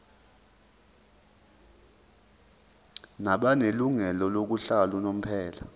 nabanelungelo lokuhlala unomphela